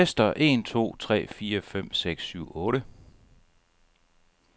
Tester en to tre fire fem seks syv otte.